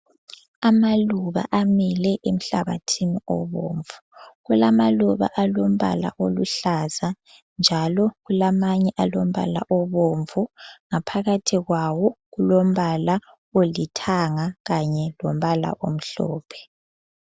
Amaluba amile emhlabathini obomvu. Kulamaluba alombala oluhlaza njalo kulamanye alombala obomvu ngaphakathi kwawo kulombala olithanga kanye lombala omhlophe.